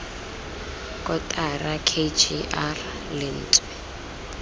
kotara k g r lentswe